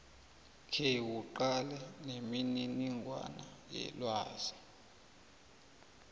khewuqale nemininingwana yelwazi